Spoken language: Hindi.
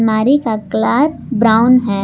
मारी का कलर ब्राउन है।